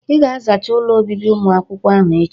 "Ị ga-azachaa ụlọ obibi ụmụakwụkwọ ahụ echi"